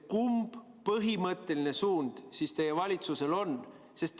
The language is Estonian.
Kumb põhimõtteline suund teie valitsusel on?